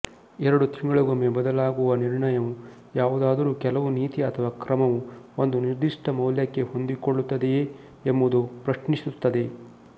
ಎರಡು ತಿಂಗಳಿಗೊಮ್ಮೆ ಬದಲಾಗುವ ನಿರ್ಣಯವು ಯಾವುದಾದರೂ ಕೆಲವು ನೀತಿ ಅಥವಾ ಕ್ರಮವು ಒಂದು ನಿರ್ದಿಷ್ಟ ಮೌಲ್ಯಕ್ಕೆ ಹೊಂದಿಕೊಳ್ಳುತ್ತದೆಯೇ ಎಂಬುದನ್ನು ಪ್ರಶ್ನಿಸುತ್ತದೆ